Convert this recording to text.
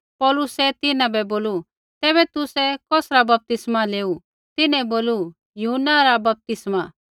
पौलुसै तिन्हां बै बोलू तैबै तुसै कौसरा बपतिस्मा लेऊ तिन्हैं बोलू यूहन्ना न रा बपतिस्मा